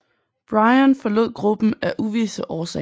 Bryan forrod gruppen af uvisse årsager